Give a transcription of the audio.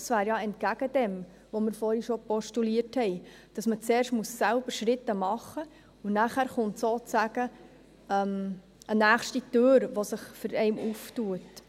Das wäre ja dem entgegengesetzt, was wir vorhin schon postuliert haben, dass man zuerst selbst Schritte machen muss, und nachher kommt sozusagen eine nächste Tür, die sich einem öffnet.